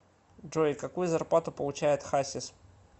джой какую зарплату получает хасис